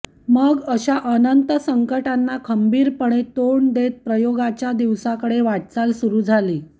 मग अश्या अनंत संकटांना खंबीरपणे तोंड देत प्रयोगाच्या दिवसाकडे वाटचाल सुरु झाली